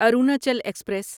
Arunachal express